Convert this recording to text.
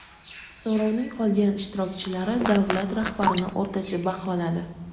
So‘rovning qolgan ishtirokchilari davlat rahbarini o‘rtacha baholadi.